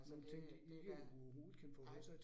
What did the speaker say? Altså det det da nej